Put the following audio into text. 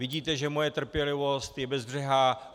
Vidíte, že moje trpělivost je bezbřehá.